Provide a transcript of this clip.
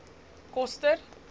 koster